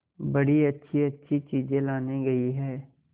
बड़ी अच्छीअच्छी चीजें लाने गई है